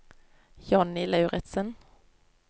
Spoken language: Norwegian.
Jonny Lauritsen